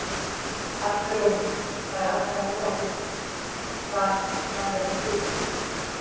Arnar Jóhannsson: Það er allavega nóg af fiski, það, það er ekki spurning sko?